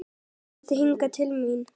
Komdu hingað til mín!